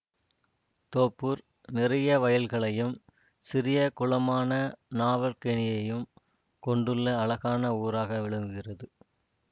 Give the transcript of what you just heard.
தோப்பூர் நிறைய வயல்களையும் சிறிய குளமான நாவற்கேணியையும் கொண்டுள்ள அழகான ஊராக விளங்குகிறது